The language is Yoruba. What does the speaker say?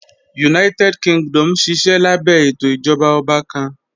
United Kingdom nṣiṣẹ̀ lábẹ̀ ètò ìjọba ọ̀bà kàn.